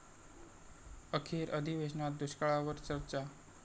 अखेर अधिवेशनात दुष्काळावर चर्चा